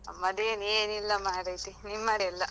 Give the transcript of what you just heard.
ನಮ್ಮದೇನ್ ಏನ್ ಇಲ್ಲ ಮಾರೈತಿ. ನಿಮ್ಮದೆಲ್ಲಾ.